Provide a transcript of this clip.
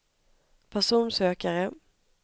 personsökare